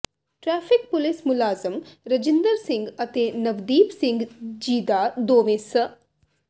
traffic police ਮੁਲਾਜ਼ਮ ਰਜਿੰਦਰ ਸਿੰਘ ਅਤੇ ਨਵਦੀਪ ਸਿੰਘ ਜੀਦਾ ਦੋਵੇਂ ਸ